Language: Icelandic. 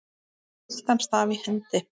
með gyltan staf í hendi.